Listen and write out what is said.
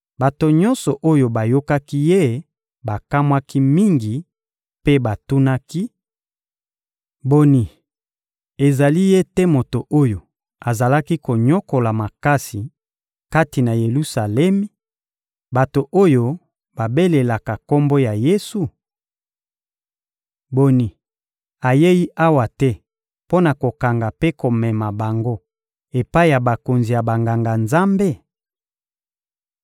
Bato nyonso oyo bayokaki ye bakamwaki mingi mpe batunaki: — Boni, ezali ye te moto oyo azalaki konyokola makasi, kati na Yelusalemi, bato oyo babelelaka Kombo ya Yesu? Boni, ayei awa te mpo na kokanga mpe komema bango epai ya bakonzi ya Banganga-Nzambe?